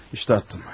Budur, atdım.